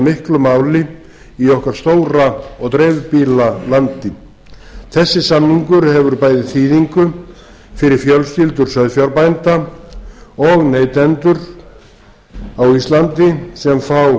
miklu máli í okkar sama og dreifbýli landi þessi samningur hefur bæði þýðingu fyrir fjölskyldur sauðfjárbænda og neytendur á íslandi sem fá